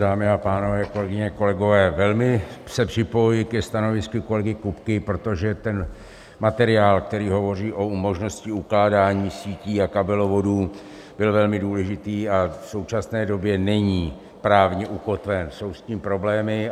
Dámy a pánové, kolegyně, kolegové, velmi se připojuji ke stanovisku kolegy Kupky, protože ten materiál, který hovoří o možnosti ukládání sítí a kabelovodů, byl velmi důležitý a v současné době není právně ukotven, jsou s tím problémy.